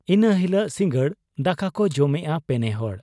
ᱤᱱᱟᱹ ᱦᱤᱞᱚᱜ ᱥᱤᱸᱜᱟᱹᱲ ᱫᱟᱠᱟᱠᱚ ᱡᱚᱢᱮᱜ ᱟ ᱯᱮᱱᱮᱦᱚᱲ ᱾